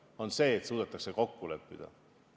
See on see, et suudetakse kokku leppida.